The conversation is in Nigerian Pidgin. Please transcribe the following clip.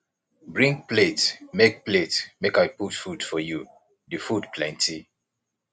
bring plate make plate make i put food for you the food plenty